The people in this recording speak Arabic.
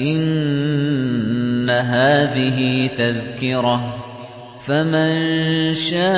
إِنَّ هَٰذِهِ تَذْكِرَةٌ ۖ فَمَن شَاءَ